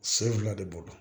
Sen fila de bolo